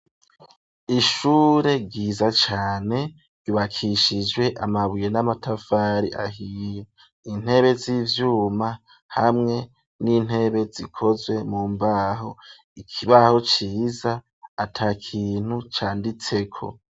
Ishure ryiza cane ryubakishijwe amabuye n'amatavari ahiye intebe z'ivyuma hamwe n'intebe zikozwe mu mbaho, ikibaho ciza ata kintu canditseko.